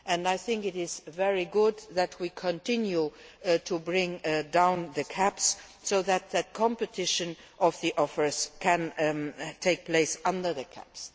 I think it is very good that we are continuing to bring down the caps so that the competition of the offers can take place under the caps.